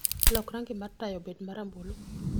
lok rangi mar taya obed ma rambulu